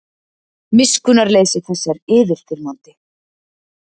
Miskunnarleysi þess er yfirþyrmandi.